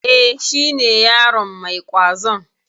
E, shi ne yaron mai ƙwazon.